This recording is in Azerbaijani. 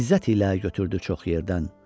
İzzət ilə götürdü çox yerdən.